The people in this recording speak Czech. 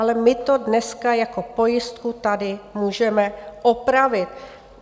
Ale my to dneska jako pojistku tady můžeme opravit.